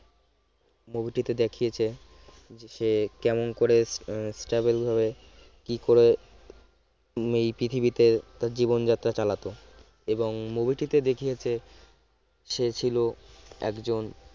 movie টিতে দেখিয়েছে যে কেমন করে কেমন ভাবে কি করে উম এই পৃথিবীতে জীবনযাত্রা চালাতে হয় এবং movie টিতে দেখিয়েছে সে ছিল একজন